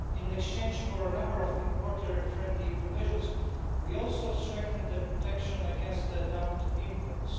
In exchange for a number of importer-friendly provisions, we also strengthened protection against dumped imports.